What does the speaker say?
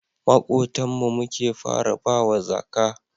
Makotan mu muke fara bawa zaka